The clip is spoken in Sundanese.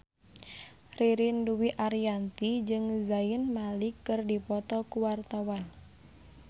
Ririn Dwi Ariyanti jeung Zayn Malik keur dipoto ku wartawan